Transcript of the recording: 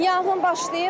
Yanğın başlayıb.